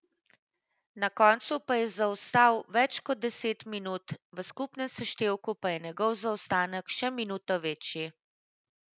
Na koncu pa je zaostal več kot deset minut, v skupnem seštevku pa je njegov zaostanek še minuto večji.